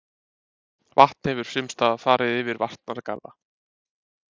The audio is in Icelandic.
Vatn hefur sumstaðar farið yfir varnargarða